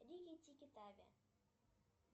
рики тики тави